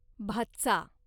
भाच्चा